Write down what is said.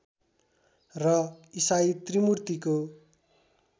र ईसाई त्रिमूर्तिको